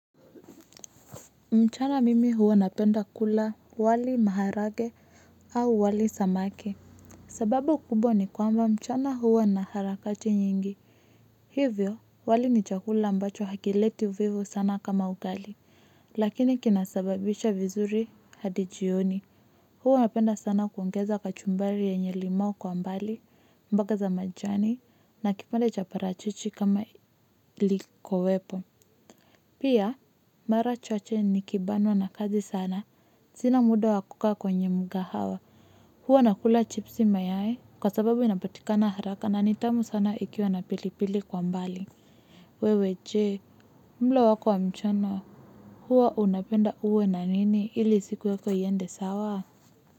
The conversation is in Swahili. Mchana mimi huwa napenda kula wali maharage au wali samaki. Sababu kubwa ni kwamba mchana huwa na harakati nyingi. Hivyo, wali ni chakula ambacho hakileti uvivu sana kama ugali. Lakini kinasababisha vizuri hadi jioni. Huwa napenda sana kuongeza kachumbari yenye limau kwa mbali, mbaka za majani na kipande cha parachichi kama likowepo. Pia mara chache nikibanwa na kazi sana sina muda wa kukaa kwenye mkahawa. Huwa nakula chipsi mayai kwa sababu inapatikana haraka na ni tamu sana ikiwa na pilipili kwa mbali. Wewe je mlo wako wa mchana huwa unapenda uwe na nini ili siku yako iende sawa.